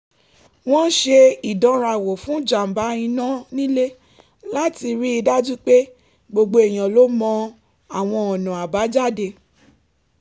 wọ́n ṣe ìdánrawò fún jàǹbá iná nílé láti rí i dájú pé gbogbo èèyàn ló mọ àwọn ọ̀nà àbájáde